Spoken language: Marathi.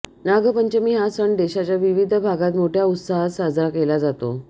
नागपंचमी हा सण देशाच्या विविध भागात मोठ्या उत्साहात साजरा केला जातो